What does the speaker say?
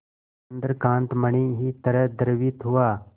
चंद्रकांत मणि ही तरह द्रवित हुआ